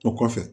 O kɔfɛ